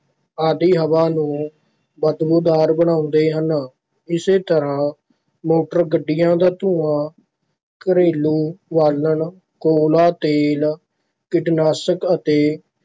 ਆਦਿ ਹਵਾ ਨੂੰ ਬਦਬੂਦਾਰ ਬਣਾਉਂਦੇ ਹਨ, ਇਸੇ ਤਰ੍ਹਾਂ ਮੋਟਰ ਗੱਡੀਆਂ ਦਾ ਧੂੰਆਂ, ਘਰੇਲੂ ਬਾਲਣ, ਕੋਲਾ, ਤੇਲ, ਕੀਟਨਾਸ਼ਕ ਅਤੇ